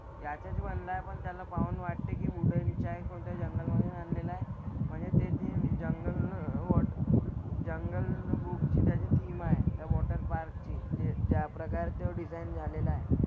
त्यातच बनलाय पण त्याला पाहून वाटते की वूडनच्या कोणत्या जंगलमधून आणलेला आहे. म्हणजे ते थिम जंगल वॉटर जंगल बुकची त्याची थिम आहे. त्या वॉटरपार्क ची जे ज्या प्रकारचं डिझाईन झालेलं आहे.